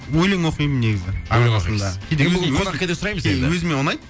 өлең оқимын негізі өлең оқимыз енді бүгін қонақкәде сұраймыз енді өзіме ұнайды